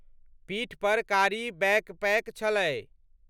पीठपर कारी बैकपैक छलै।